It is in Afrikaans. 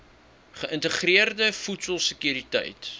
geïntegreerde voedsel sekuriteit